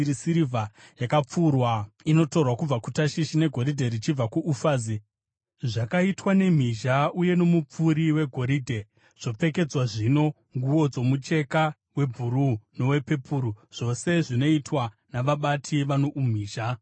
Sirivha yakapfurwa inotorwa kubva kuTashishi negoridhe richibva kuUfazi. Zvakaitwa nemhizha uye nomupfuri wegoridhe, zvopfekedzwa zvino nguo dzomucheka webhuruu nowepepuru, zvose zvinoitwa navabati vano umhizha.